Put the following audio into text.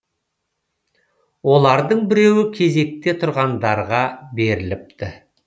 олардың біреуі кезекте тұрғандарға беріліпті